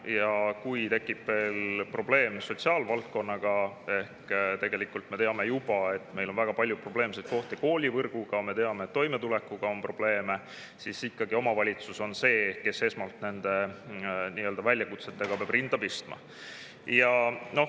Ja kui tekib veel probleem sotsiaalvaldkonnaga – tegelikult me juba teame, et meil on väga palju probleeme koolivõrguga, me teame, et toimetulekuga on probleeme –, siis ikkagi omavalitsus on see, kes esmalt nende väljakutsetega peab rinda pistma.